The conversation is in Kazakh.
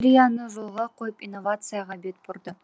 индустрияны жолға қойып инновацияға бет бұрды